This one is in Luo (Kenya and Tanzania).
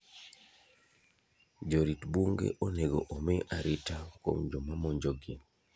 Jorit bunge onego omi arita kuom joma monjo gi.